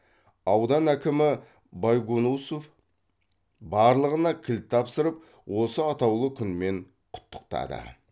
аудан әкімі байгонусов барлығына кілт тапсырып осы атаулы күнмен құттықтады